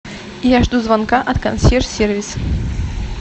я жду звонка от консьерж сервис